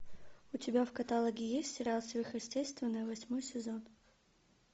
у тебя в каталоге есть сериал сверхъестественное восьмой сезон